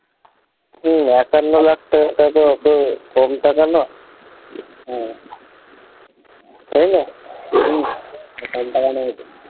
হম একান্ন লাখ টাকা তো অত কম টাকা না হম তাইনা? হম